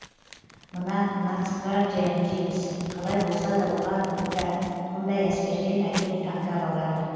мына нацгвардия дейміз қалай болсада оған да мындай әскерден әрине тандап алады